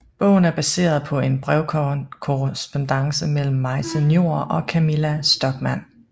Bogen er baseret på en brevkorrespondance mellem Maise Njor og Camilla Stockmann